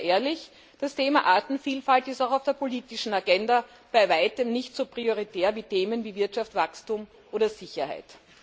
Und seien wir ehrlich Das Thema Artenvielfalt ist auch auf der politischen Agenda bei Weitem nicht so prioritär wie Themen wie Wirtschaftswachstum oder Sicherheit.